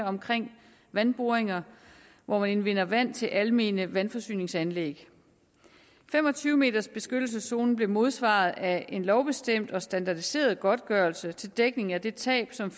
omkring vandboringer hvor man indvinder vand til almene vandforsyningsanlæg fem og tyve meters beskyttelseszonen blev modsvaret af en lovbestemt og standardiseret godtgørelse til dækning af det tab som